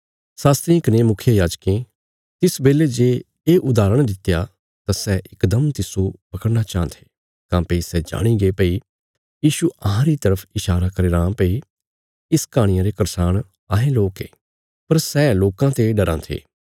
शास्त्रियें कने मुखियायाजकां तिस बेले जे ये उदाहरण दित्या तां सै इकदम तिस्सो पकड़ना चाँह थे काँह्भई सै जाणीगे भई यीशु अहांरी तरफ ईशारा करी रां भई इस कहाणिया रे करसाण अहें लोक ये पर सै लोकां ते डराँ थे